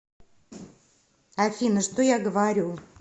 афина что я говорю